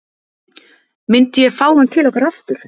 Myndi ég fá hann til okkar aftur?